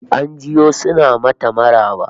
An jiyo suna mata maraba